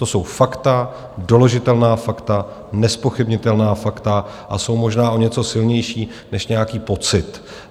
To jsou fakta, doložitelná fakta, nezpochybnitelná fakta a jsou možná o něco silnější než nějaký pocit.